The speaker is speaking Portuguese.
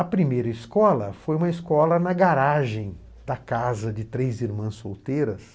A primeira escola foi uma escola na garagem da casa de três irmãs solteiras.